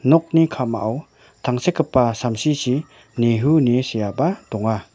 nokni ka·mao tangsekgipa samsichi nehu ine seaba donga.